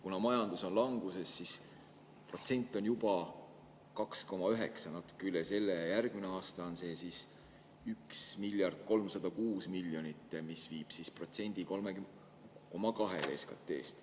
Kuna majandus on languses, siis protsent on juba 2,9, natuke üle selle, ja järgmisel aastal on 1 miljard ja 306 miljonit, mis viib protsendi 3,2-le SKT-st.